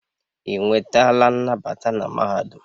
Ị nwetala nnabata na mahadum?